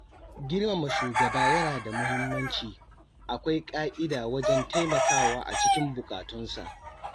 Girmama shugaba yana da muhimmanci, akwai ƙa'ida wajen taimakawa a cikin bukatunsa.